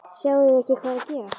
Sjáið þið ekki hvað er að gerast!